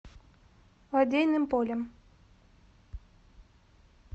лодейным полем